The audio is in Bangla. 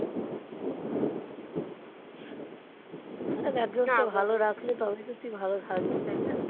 একজনকে ভালো রাখলে তবেই তো তুই ভালো থাকবি তাই না?